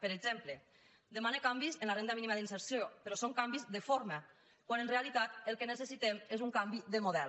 per exemple demana canvis en la renda mínima d’inserció però són canvis de forma quan en realitat el que necessitem és un canvi de model